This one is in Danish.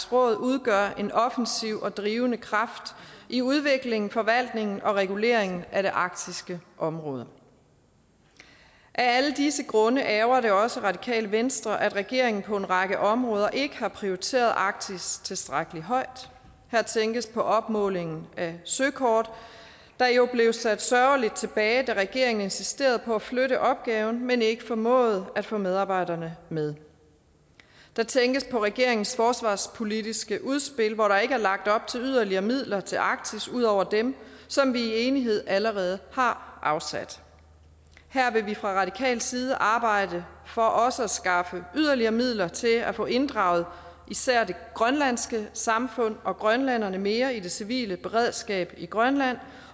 råd udgør en offensiv og drivende kraft i udviklingen forvaltningen og reguleringen af det arktiske område af alle disse grunde ærgrer det også radikale venstre at regeringen på en række områder ikke har prioriteret arktis tilstrækkelig højt her tænkes på opmålingen af søkort der jo blev sat sørgeligt tilbage da regeringen insisterede på at flytte opgaven men ikke formåede at få medarbejderne med der tænkes på regeringens forsvarspolitiske udspil hvor der ikke er lagt op til yderligere midler til arktis ud over dem som vi i enighed allerede har afsat her vil vi fra radikal side arbejde for også at skaffe yderligere midler til at få inddraget især det grønlandske samfund og grønlænderne mere i det civile beredskab i grønland